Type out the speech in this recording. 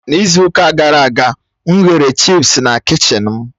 N'izu ụka gara aga, m ghere chịpsi na kichin m